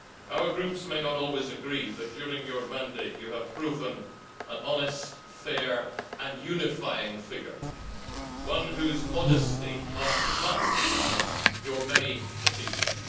Our groups may not always agree, but during your mandate you have proven an honest, fair and unifying figure, one whose modesty masks your many achievements.